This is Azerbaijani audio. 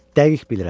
Dəqiq bilirəm.